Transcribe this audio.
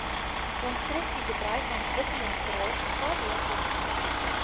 konstruksiebedryf ontwikkelingsraad kbor